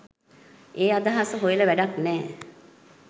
ඒ අදහස හොයල වැඩක් නෑ.